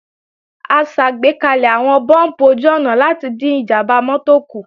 A ṣàgbékalẹ̀ àwọn búùmpù ojú-ọ̀nà láti dín ìjàmbá mọ́tò kù